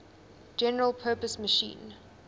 general purpose machine